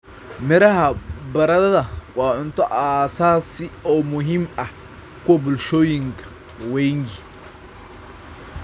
Miraha baradadha wa cunto aasaasi oo muhiim ah kwa bulshooyin wengi.